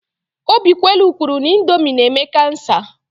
Obikwelu kwuru na Indomi na-eme kansa.